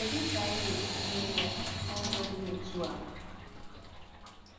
Kedu ka anyị ga-esi mee ya n’ụzọ dị otu a?